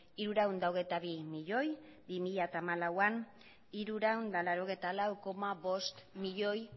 hirurehun eta hogeita bi milioi bi mila hamalauean hirurehun eta laurogeita lau koma bost milioi